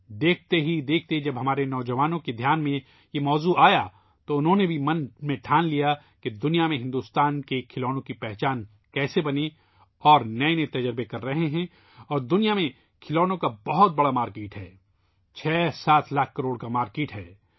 دیکھتے ہی دیکھتے جب یہ موضوع ہمارے نوجوانوں کی توجہ میں آیا تو انہوں نے اپنے ذہن میں یہ فیصلہ بھی کر لیا کہ ہندوستان کے کھلونوں کو دنیا میں پہچان کیسے دلائی جائے اور وہ نئے تجربات کر رہے ہیں اور دنیا میں کھلونوں کی بہت بڑی مارکیٹ ہے ، 67 لاکھ کروڑ کی مارکیٹ ہے